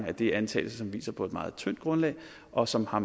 at det er antagelser som hviler på et meget tyndt grundlag og som har